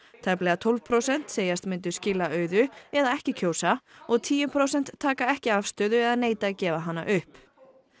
tæplega tólf prósent segjast myndu skila auðu eða ekki kjósa og tíu prósent taka ekki afstöðu eða neita að gefa hana upp